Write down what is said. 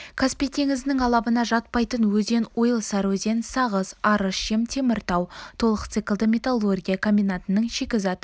каспий теңізінің алабына жатпайтын өзен ойыл сарыөзен сағыз арыс жем теміртау толық циклді металлургия комбинатының шикізат